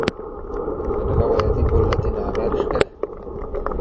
Bodo njegove jedi bolj latinoameriške?